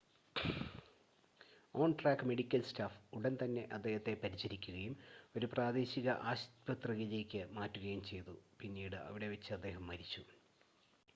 on-track medical staff ഉടൻ തന്നെ അദ്ദേഹത്തെ പരിചരിക്കുകയും ഒരു പ്രാദേശിക ആശുപത്രിയിലേക്ക് മാറ്റുകയും ചെയ്തു പിന്നീട് അവിടെ വച്ച് അദ്ദേഹം മരിച്ചു